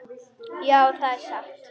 Já, það er satt.